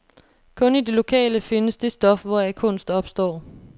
Kun i det lokale findes det stof, hvoraf kunst opstår.